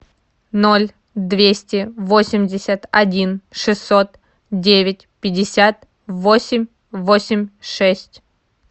ноль двести восемьдесят один шестьсот девять пятьдесят восемь восемь шесть